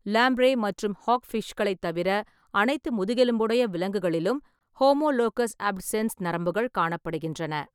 Lamprey மற்றும் ஹாக்ஃபிஷ்களைத் தவிர அனைத்து முதுகெலும்புடைய விலங்குகளிலும் ஹோமோலோகஸ் அப்சென்ஸ் நரம்புகள் காணப்படுகின்றன.